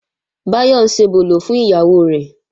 Báyọ̀ ń ṣebòlò fún ìyàwó rẹ̀